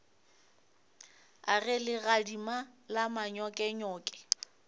a ge legadima la manyokenyoke